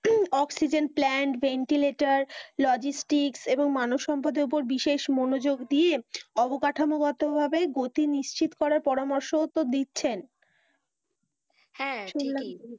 oxygen plant ventilator logistic এবং মানবসম্পদের ওপর বিশেষ মনোযোগ দিয়ে অবকাঠামোগত ভাবে গতি নিশ্চিত করার পরামর্শও তো দিচ্ছেন, হ্যাঁ ঠিকই শুনলাম তো